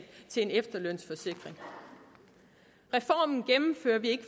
til en efterlønsforsikring reformen gennemfører vi ikke